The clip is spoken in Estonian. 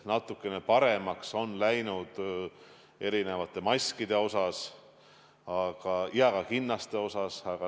Natukene paremaks on olukord läinud erinevate maskide osas ja ka kinnaste osas.